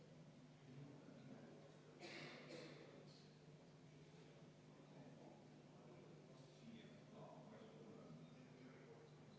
25. muudatusettepanek, esitajaks on põhiseaduskomisjon, põhiseaduskomisjon on seda arvestanud täielikult.